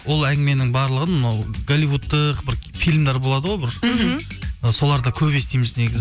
ол әңгіменің барлығын ол голливудтық бір фильмдер болады ғой бір мхм соларда көп естиміз негізі